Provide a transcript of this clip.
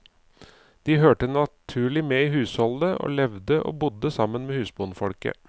De hørte naturlig med i husholdet, og levde og bodde sammen med husbondfolket.